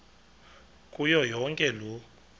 kuyo yonke loo